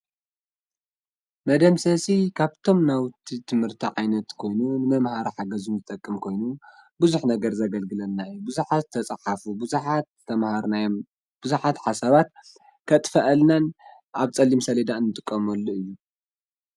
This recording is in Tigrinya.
መደምሰሲ ካብቶም ናውቲ ትምህርቲ ዓይነት ኮይኑ ንመምሃሪ ሓገዝ ዝጠቅም ኮይኑ ቡዙሕ ነገር ዘገልግለና እዩ ቡዙሓት ዝተጻሓፉ ቡዙሓት ዝተምሃርናዮም ቡዙሓት ሓሳባት ከጥፈኣልናን ኣብ ፀሊም ሰሌዳ እንጥቀመሉ እዩ።